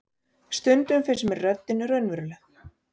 Stundum finnst mér röddin raunveruleg.